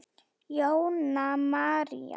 Jóna María.